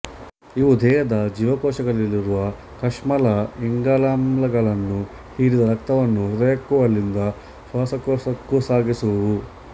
ಇವು ದೇಹದ ಜೀವಕೋಶಗಳಲ್ಲಿರುವ ಕಶ್ಮಲ ಇಂಗಾಲಾಮ್ಲಗಳನ್ನು ಹೀರಿದ ರಕ್ತವನ್ನು ಹೃದಯಕ್ಕೂ ಅಲ್ಲಿಂದ ಶ್ವಾಸಕೋಶಕ್ಕೂ ಸಾಗಿಸುವುವು